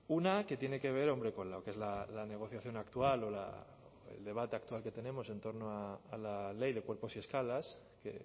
una que tiene que ver hombre con lo que es la negociación actual o el debate actual que tenemos en torno a la ley de cuerpos y escalas que